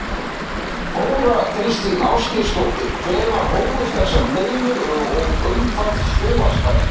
Þóra Kristín Ásgeirsdóttir: Hvenær hófust þessar deilur og um hvað snúast þær?